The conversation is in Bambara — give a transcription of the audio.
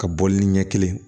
Ka bɔ li ɲɛ kelen